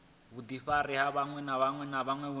vhudifari vhuṅwe na vhuṅwe vhune